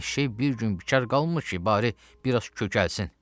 Eşşək bir gün bikar qalmır ki, bari biraz kökəlsin.